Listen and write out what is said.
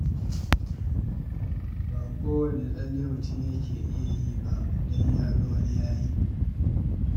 Ba kowane tsalle mutum yake iyawa ba, don ya ga wani ya yi.